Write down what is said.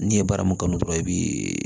N'i ye baara mun kanu dɔrɔn i bi